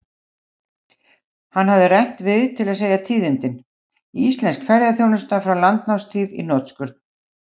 Hann hafði rennt við til að segja tíðindin: Íslensk fréttaþjónusta frá landnámstíð í hnotskurn.